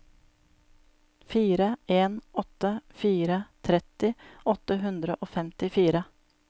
fire en åtte fire tretti åtte hundre og femtifire